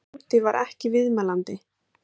Tóti var ekki viðmælandi.